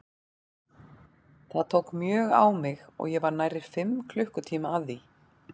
Það tók mjög á mig og ég var nærri fimm klukkutíma að því.